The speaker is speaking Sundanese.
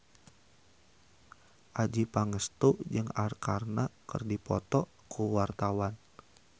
Adjie Pangestu jeung Arkarna keur dipoto ku wartawan